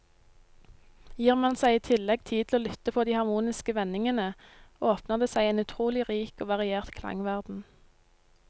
Gir man seg i tillegg tid til å lytte på de harmoniske vendingene, åpner det seg en utrolig rik og variert klangverden.